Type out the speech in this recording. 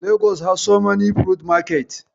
Lagos has so many fruits market.